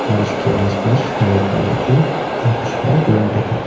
और इसके आसपास हरे कलर के काफी सुंदर प्लांट है।